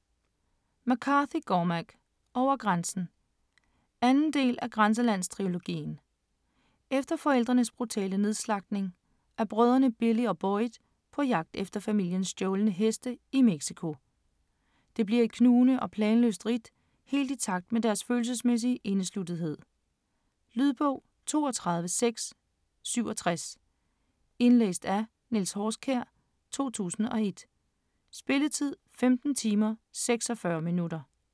McCarthy, Cormac: Over grænsen 2. del af Grænselandstrilogien. Efter forældrenes brutale nedslagtning er brødrene Billy og Boyd på jagt efter familiens stjålne heste i Mexico. Det bliver et knugende og planløst ridt helt i takt med deres følelsesmæssige indesluttethed. Lydbog 32667 Indlæst af Niels Horskjær, 2001. Spilletid: 15 timer, 46 minutter.